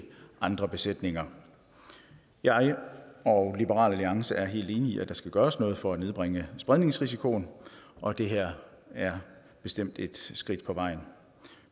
andre besætninger jeg og liberal alliance er helt enige i at der skal gøres noget for at nedbringe spredningsrisikoen og det her er bestemt et skridt på vejen